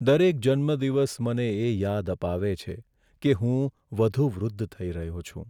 દરેક જન્મદિવસ મને એ યાદ અપાવે છે કે હું વધુ વૃદ્ઘ થઈ રહ્યો છું.